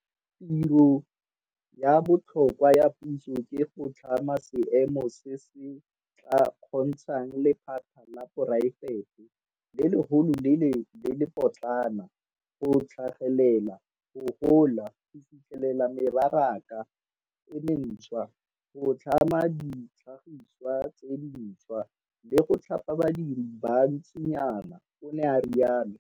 "Tiro ya botlhokwa ya puso ke go tlhama seemo se se tla kgontshang lephata la poraefete - le legolo le le le potlana go tlhagelela, go gola, go fitlhelela mebaraka e mentšhwa, go tlhama ditlhagiswa tse dintšhwa, le go thapa badiri ba bantsinyana," o ne a rialo.